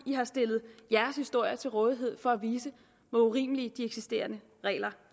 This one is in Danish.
i har stillet jeres historier til rådighed for at vise hvor urimelige de eksisterende regler